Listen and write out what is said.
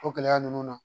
O gɛlɛya ninnu na